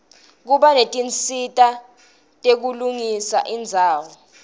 kuba netinsita tekulungisa indzawo